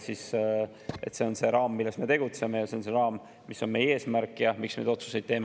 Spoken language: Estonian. See on raam, milles me tegutseme, ja see on see raam, mis on meie eesmärk ja miks me neid otsuseid teeme.